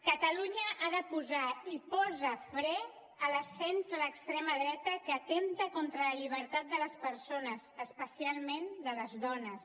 catalunya ha de posar i posa fre a l’ascens de l’extrema dreta que atempta contra la llibertat de les persones especialment de les dones